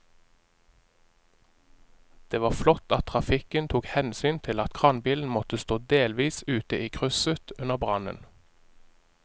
Det var flott at trafikken tok hensyn til at kranbilen måtte stå delvis ute i krysset under brannen.